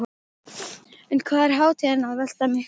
En hvað er hátíðin að velta miklu?